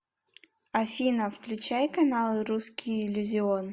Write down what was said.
афина включай канал русский иллюзион